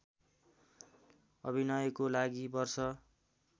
अभिनयको लागि वर्ष